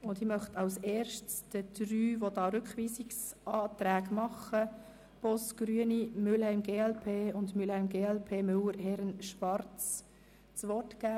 Zuerst möchte ich den Antragstellenden der Rückweisungsanträge Boss, Mühlheim, Herren, Müller und Schwarz das Wort erteilen.